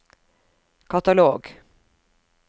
katalog